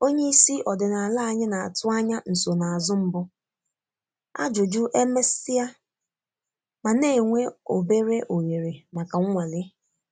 Onye isi ọdịnala anyị na-atụ anya nsonaazụ mbụ, ajụjụ e mesia, ma na-enwe obere ohere maka nnwale.